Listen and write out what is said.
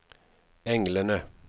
englene